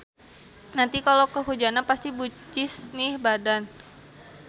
Nanti kalo kehujanan pasti bucis nih badan.